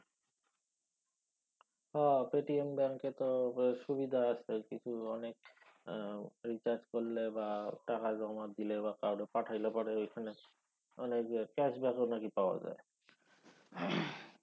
হ PayTm ব্যাঙ্কে তো সুবিধা আছে কিছু অনেক recharge করলে বা টাকা জমা দিলে বা কাওরে পাঠাইলে পরে ঐখানে অনেক cash back ও নাকি পাওয়া যায়।